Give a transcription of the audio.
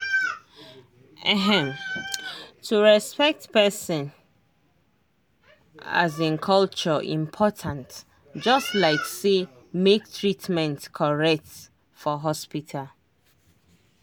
ehm to respect person um culture important just like say make treatment correct for hospital.